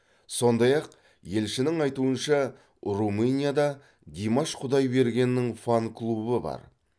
сондай ақ елшінің айтуынша румынияда димаш құдайбергеннің фан клубы бар